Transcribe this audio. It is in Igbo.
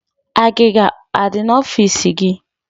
Agịga adi na ọfịs gi